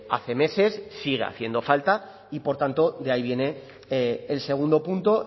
hace meses sigue haciendo falta y por tanto de ahí viene el segundo punto